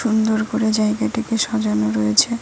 সুন্দর করে জায়গাটিকে সাজানো রয়েছে।